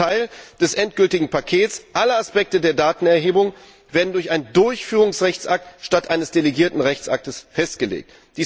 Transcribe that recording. Wichtiger Teil des endgültigen Pakets Alle Aspekte der Datenerhebung werden durch einen Durchführungsrechtsakt statt eines delegierten Rechtsaktes festgelegt.